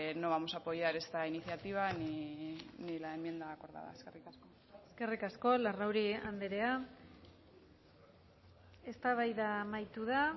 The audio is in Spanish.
no vamos a apoyar esta iniciativa ni la enmienda acordada eskerrik asko eskerrik asko larrauri andrea eztabaida amaitu da